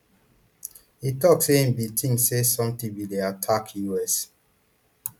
e tok say i bin tink say sometin bin dey attack us